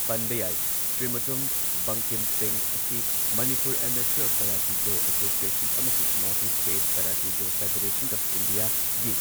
ꯄꯟꯕ ꯌꯥꯏ, ꯁ꯭ꯔꯤ ꯃꯨꯇꯨꯝ ꯕꯪꯀꯤꯝ ꯁꯤꯡꯍ ꯑꯁꯤ Manipur amateur karate do association ꯑꯃꯁꯨꯡ north east state karate do federation of ꯏꯟꯗꯤꯌꯥꯒꯤ